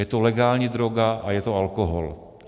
Je to legální droga a je to alkohol.